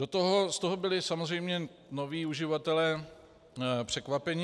Z toho byli samozřejmě noví uživatelé překvapeni.